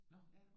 Nå okay